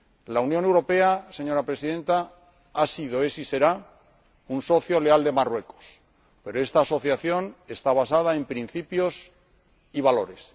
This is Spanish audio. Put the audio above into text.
La Unión Europea, señora Presidenta, ha sido, es y será un socio leal de Marruecos, pero esta asociación está basada en principios y valores